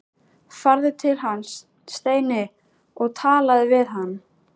Farðu til hans, Steini, og talaðu við hann!